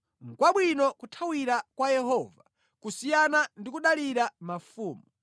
Nʼkwabwino kuthawira kwa Yehova kusiyana ndi kudalira mafumu.